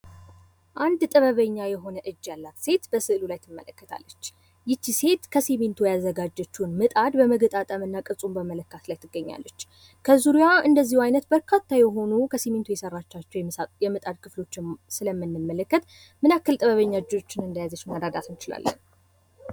አንድ ጥበበኛ የሆነች ሴት በስእያሉ ላይ ትታያለች ፥ ይች ሴት ከስሚንቶ ያዘጋጀችዉን ምጣድ በመገጣጠም ላይ ትገኛለች ፤ ምን ያክል ጥበበኛ እንደሆነች መረዳት እንቺላለን።